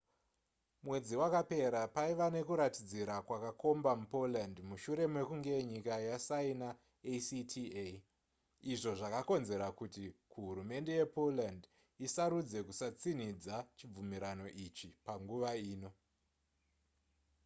mwedzi wakapera paiva nekuratidzira kwakakomba mupoland mushure mekunge nyika yasaina acta izvo zvakakonzera kuti kuhurumende yepoland isarudze kusatsinhidza chibvumirano ichi panguva ino